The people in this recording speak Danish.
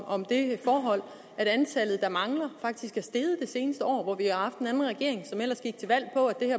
om det forhold at antallet der mangler en faktisk er steget det seneste år hvor vi har haft en regering som ellers gik til valg